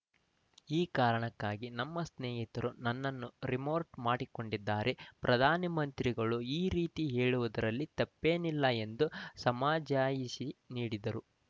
ಈ ಕಾರಣಕ್ಕಾಗಿ ನಮ್ಮ ಸ್ನೇಹಿತರು ನನ್ನನ್ನು ರೀಮೋರ್ಟ್ ಮಾಡಿಕೊಂಡಿದ್ದಾರೆ ಪ್ರಧಾನಮಂತ್ರಿಗಳು ಈ ರೀತಿ ಹೇಳಿರುವುದರಲ್ಲಿ ತಪ್ಪೇನಿಲ್ಲ ಎಂದು ಸಮಜಾಯಿಷಿ ನೀಡಿದರು